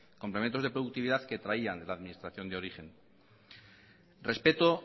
complementos de productividad que traían de la administración de origen respecto